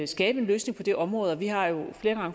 skabe en løsning på det område og vi har jo flere